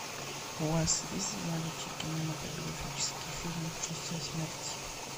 у вас есть в наличии кинематографический фильм шоссе смерти